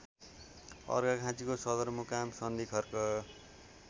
अर्घाखाँचीको सदरमुकाम सन्धिखर्क